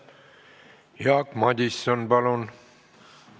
Jaak Madison, palun!